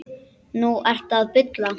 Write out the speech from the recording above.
Núna ertu að bulla.